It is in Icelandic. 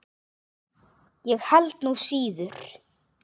Ég held nú slíður!